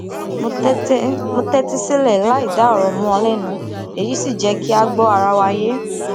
mo tétí sílè láìdá òrò mó ọn lénu èyí sì jé kí a gbọ ara wa yé